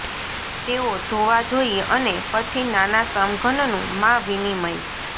તેઓ ધોવા જોઈએ અને પછી નાના સમઘનનું માં વિનિમય